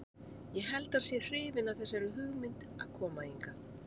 Ég held að hann sé hrifinn af þessari hugmynd að koma hingað.